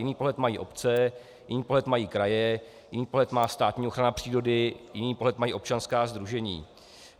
Jiný pohled mají obce, jiný pohled mají kraje, jiný pohled má státní ochrana přírody, jiný pohled mají občanská sdružení.